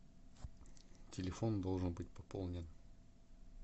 телефон должен быть пополнен